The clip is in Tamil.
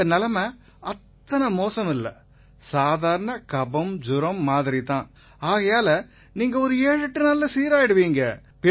உங்க நிலைமை அத்தனை மோசமில்லை சாதாரண கபம்ஜுரம் மாதிரி தான் ஆகையால நீங்க 78 நாட்கள்ல சீராயிருவீங்க